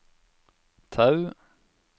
Tau